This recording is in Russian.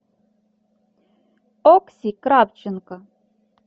окси кравченко